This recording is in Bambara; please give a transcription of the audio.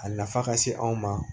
A nafa ka se anw ma